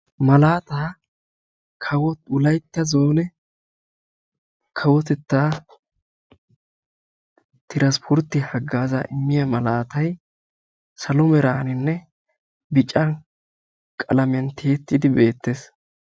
Malattaa kawo wolaytta zoone kawotetta transspportte hagaaza immiya malaatta.